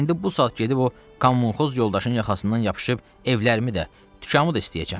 İndi bu saat gedib o kommunxoz yoldaşın yaxasından yapışıb evlərimi də, dükanımı da istəyəcəm.